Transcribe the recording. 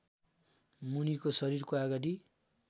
मुनिको शरीरको अगाडि